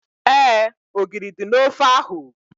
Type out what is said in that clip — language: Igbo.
Éè, ogiri dị n'ofe ahu